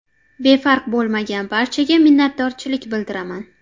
Befarq bo‘lmagan barchaga minnatdorchilik bildiraman.